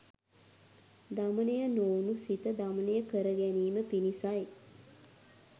දමනය නොවුණු සිත දමනය කරගැනීම පිණිසයි.